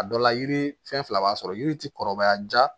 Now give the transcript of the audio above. A dɔ la yiri fɛn fila b'a sɔrɔ yiri ti kɔrɔbaya jaa